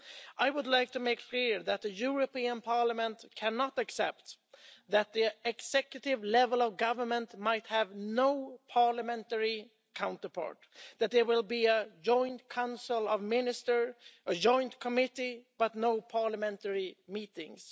I would like to make clear that the European Parliament cannot accept that the executive level of government might have no parliamentary counterpart that there will be a Joint Council of Ministers, a Joint Committee, but no parliamentary meetings.